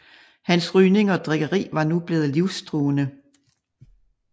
Hans rygning og drikkeri var nu blevet livstruende